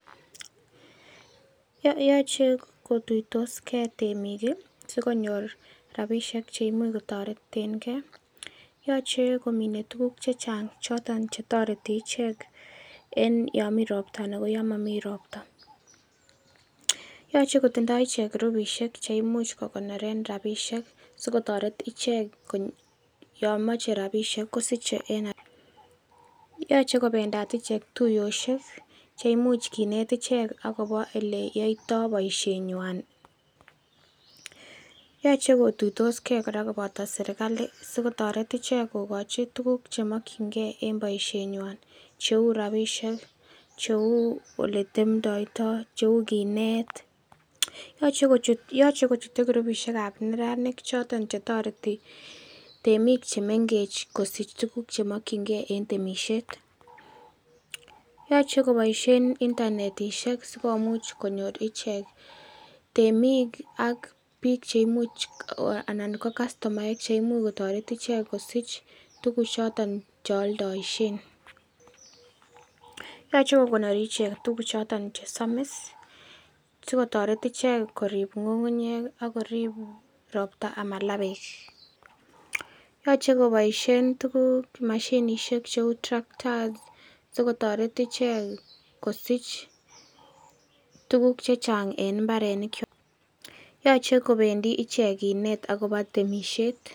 Yoche kotuitosge temik ii, sikonyor rapisiek cheimuch kotoretengee, Yoche komine tuguk chechang choton chetoreti ichek en yon mii ropta anan koyo momii ropta, Yoche kotindo ichek groupisiek cheimuch kokonoren ichek rapisiek sikotoret ichek yon moche rapisiek kosiche en haraka, Yoche kobendat ichek tuiyosiek cheimuch kinet ichek akobo ele yoitoo boisienywan ,Yoche kotuitoskee kora koboto serikali, sikotoret ichek kokochi tuguk chemokyingee en boisienywan cheu rapisiek cheu oletemtoitoo cheu kinet ,Yoche kochute groupisiekab neranik choton chetoreti temik chemengech kosich tuguk choton chemokyingee en temisiet, Yoche koboisien ichek internetisiek sikomouch konyor ichek temik ak biik cheimuch anan ko kastomaek cheimuch kotoret ichek kosich tuguchoton chekioldoishen, yoche kokonori ichek tuguchoton chesomis sikotoret ichek korip ng'ung'unyek ii akorip roptaa amalaa beek, Yoche koboisien tuguk mashinishek cheu tractors sikotoret ichek kosich tuguk chechang en mbarenikwak, yoche kobendi ichek kinet akobo temisiet.